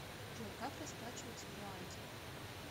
джой как расплачиваться в руанде